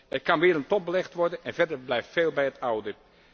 Er kan weer een top belegd worden en verder blijft veel bij het oude.